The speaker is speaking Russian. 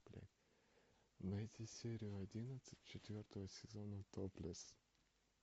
найти серию одиннадцать четвертого сезона топлес